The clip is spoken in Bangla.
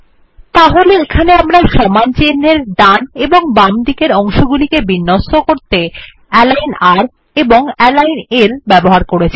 তাহলে এখানে আমরা সমান চিন্হের ডান এবং বাম দিকের অংশগুলিকে বিন্যস্ত করতে অ্যালিগন r এবং অ্যালিগন l ব্যবহার করেছি